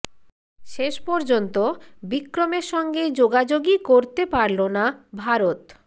শেষ পর্যন্ত বিক্রমের সঙ্গে যোগাযোগই করতে পারল না ভারত